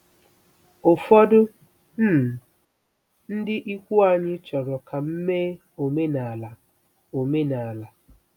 Ụfọdụ um ndị ikwu anyị chọrọ ka m mee omenala omenala